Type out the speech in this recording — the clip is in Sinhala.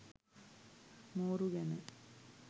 මෝරු ගැන